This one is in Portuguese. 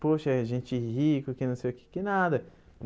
Poxa, gente rica, que não sei o que, que nada.